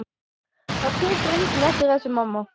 Það tekur enginn eftir þessu, mamma.